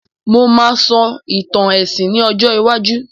Mo máà sọ ìtàn èsìn ní ọjọ́ iwájú